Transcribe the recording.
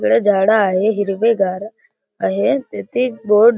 इकड झाडे आहे हिरवे गार आहे तेथे बोर्ड --